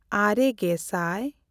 ᱟᱨᱮᱼᱜᱮᱥᱟᱭ